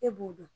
E b'o dɔn